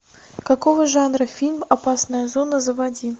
какого жанра фильм опасная зона заводи